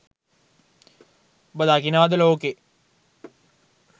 ඔබ දකිනවද ලෝකෙ